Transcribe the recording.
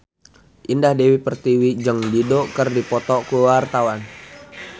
Indah Dewi Pertiwi jeung Dido keur dipoto ku wartawan